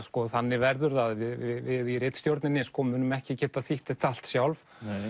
þannig verður það að við í ritstjórninni munum ekki geta þýtt þetta allt sjálf